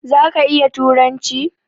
Zaka iya turanci?